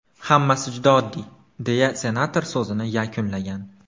Hammasi juda oddiy”, deya senator so‘zini yakunlagan.